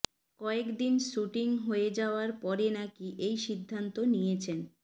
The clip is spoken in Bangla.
কয়েকদিন শ্যুটিং হয়ে যাওয়ার পরে নাকি এই সিদ্ধান্ত নিয়েছেন